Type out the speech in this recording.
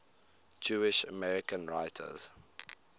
jewish american writers